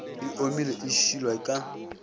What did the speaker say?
e omile e šilwa ka